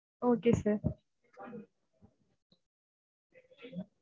okay sir